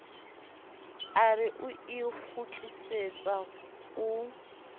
a re o ikgutlisetsa o